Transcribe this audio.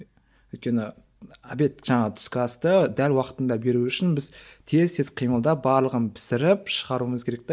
өйткені обед жаңағы түскі асты дәл уақытында беру үшін біз тез тез қимылдап барлығын пісіріп шығаруымыз керек те